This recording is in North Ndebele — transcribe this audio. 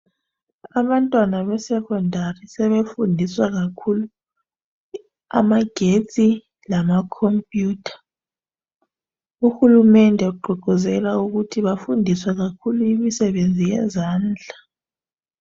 Abantwana be"Secondary " sebefundiswa kakhulu amagetsi lama" computer "uhulumende ugqugquzela ukuthi bafundiswe kakhulu imisebenzi yezandla.